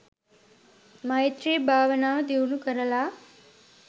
මෛත්‍රී භාවනාව දියුණු කරලා